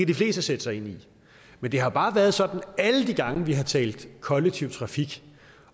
de fleste sætte sig ind i men det har bare været sådan at alle de gange vi har talt kollektiv trafik